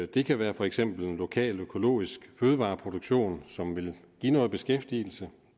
det kan være for eksempel en lokal økologisk fødevareproduktion som vil give noget beskæftigelse